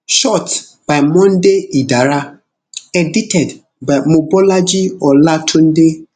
shot by monday idara edited by mobolaji olatunde